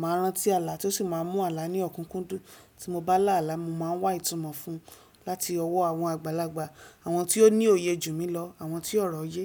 máa ń rántí àlá, tí ó sì máa ń mú àlá ní ọ̀kúnkúndùn, tí mo bá là àlá, mo máa ń wá ìtumọ̀ fún un láti ọwọ́ àwọn àgbàlagbà, àwọn tí ó ní òye jù mí lọ, àwọn tí ọ̀rọ̀ yé.